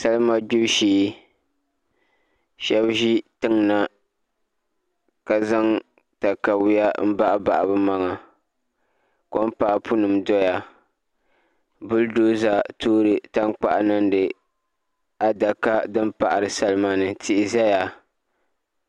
Salima gbibu shee shab ʒi tiŋ na ka zaŋ katawiya n baɣabaɣa bi maŋa kom kaapu nim ʒɛya bull doza toori tankpaɣu niŋdi adaka din paɣari salima ni tihi ʒɛya